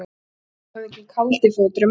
Indíánahöfðinginn Kaldi fótur er mættur!